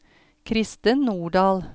Kristen Nordahl